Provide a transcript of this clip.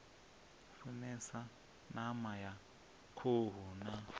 funesa ṋama ya khuhu na